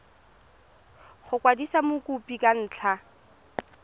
go kwadisa mokopi ka ntlha